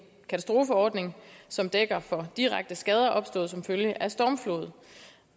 katastrofeordning som dækker direkte skader opstået som følge af stormflod